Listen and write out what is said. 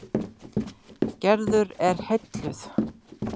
Gerður er heilluð.